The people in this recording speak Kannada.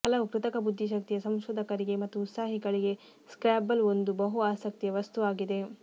ಹಲವು ಕೃತಕ ಬುದ್ಧಿಶಕ್ತಿಯ ಸಂಶೋಧಕರಿಗೆ ಮತ್ತು ಉತ್ಸಾಹಿಗಳಿಗೆ ಸ್ಕ್ರ್ಯಾಬಲ್ ಒಂದು ಬಹು ಆಸಕ್ತಿಯ ವಸ್ತುವಾಗಿದೆ